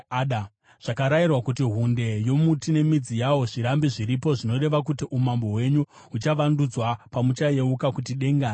Zvakarayirwa kuti hunde yomuti nemidzi yawo zvirambe zviripo zvinoreva kuti umambo hwenyu huchavandudzwa pamuchayeuka kuti denga rinotonga.